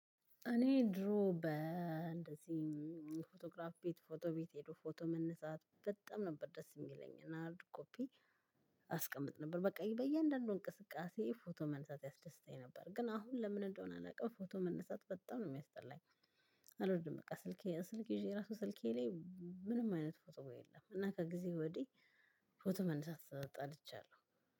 እኔ ድሮ በእንደዚህ ፎቶግራፍ ቤት ፎቶ ቤት ሄዶ ፎቶ መነሳት በጣም ነበር ደስ የሚለኝ። እና ሃርድ ኮፒ- አስቀምጥ ነበር። በቃ በእያንዳንዱ እንቅስቃሴ ፎቶ መነሳት ያስደስታኝ ነበር። ግን አሁን ለምን እንደሆነ አላውቅም ፎቶ መነሳት በጣም ነው የሚያስጠላኝ። አልወድም በቃ። ስልኬ ስልኬ ይዤ ራሱ ስልኬ ላይ ምንም አይነት ፎቶ የለም። እና ከጊዜ ወዲህ ፎቶ መነሳት ጠልቻለሁ።